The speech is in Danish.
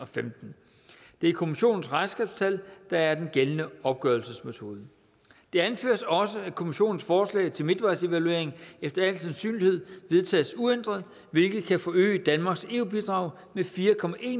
femten det er kommissionens regnskabstal der er den gældende opgørelsesmetode det anføres også at kommissionens forslag til midtvejsevaluering efter al sandsynlighed vedtages uændret hvilket kan forøge danmarks eu bidrag med fire